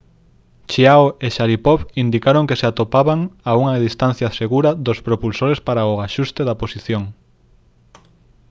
chiao e sharipov indicaron que se atopaban a unha distancia segura dos propulsores para o axuste da posición